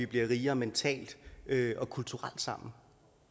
bliver rigere mentalt og kulturelt sammen